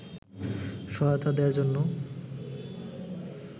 সহায়তা দেয়ার জন্যই